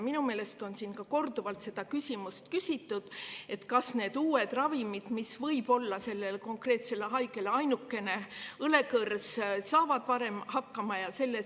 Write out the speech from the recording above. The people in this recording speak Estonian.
Minu meelest on siin korduvalt seda küsimust küsitud, kas need uued ravimid, mis võivad olla konkreetsele haigele ainukene õlekõrs, saavad varem.